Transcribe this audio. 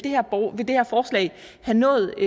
have nået